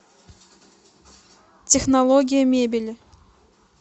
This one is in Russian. технология мебели